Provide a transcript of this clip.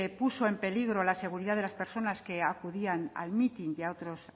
puso en peligro la seguridad de las personas que acudían al mitin y a otros